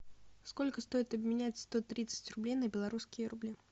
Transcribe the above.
сколько стоит обменять сто тридцать рублей на белорусские рубли